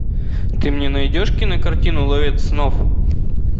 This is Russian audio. ты мне найдешь кинокартину ловец снов